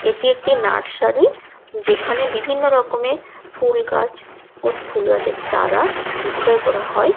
এটি একটি নার্সারি । যেখানে বিভিন্ন রকমের ফুল গাছ ও ফুল গাছের চারা বিক্রয় করা হয়।